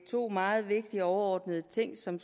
to meget vigtige overordnede ting som